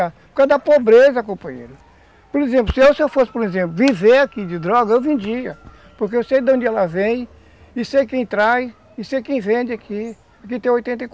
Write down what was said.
Por causa da pobreza, companheiro, por exemplo, se eu fosse, por exemplo, viver aqui de droga, eu vendia, porque eu sei de onde ela vem e sei quem traz e sei quem vende aqui. Aqui tem oitenta e